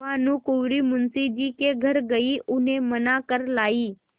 भानुकुँवरि मुंशी जी के घर गयी उन्हें मना कर लायीं